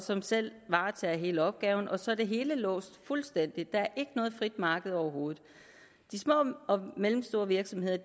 som selv varetager hele opgaven og så er det hele låst fuldstændig der er ikke noget frit marked overhovedet de små og mellemstore virksomheder